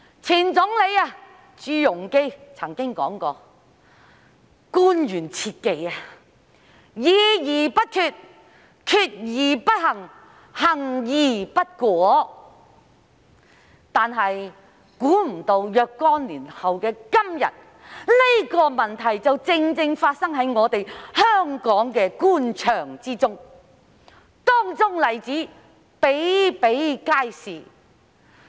前總理朱鎔基曾經說過，官員切忌"議而不決，決而不行，行而不果"，但想不到若干年後的今天，這情況正正發生在香港官場，當中例子比比皆是。